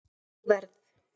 Ég verð